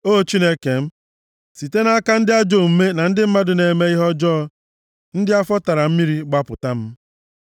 O Chineke m, site nʼaka ndị ajọ omume na ndị mmadụ na-eme ihe ọjọọ, ndị afọ tara mmiri, gbapụta m.